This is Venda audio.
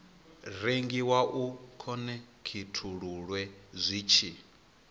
rengiwa u khonekhithululwe zwi tshi